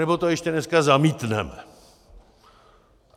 Anebo to ještě dneska zamítneme.